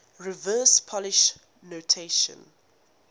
reverse polish notation